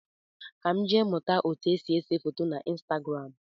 Ka m jee mụta etu esi ese foto na Instagram